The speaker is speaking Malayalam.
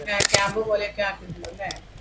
ക്യാമ്പ് പോലെ